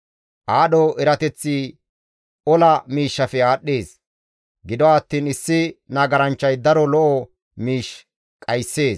Aadho erateththi ola miishshafe aadhdhees; gido attiin issi nagaranchchay daro lo7o miish dhayssees.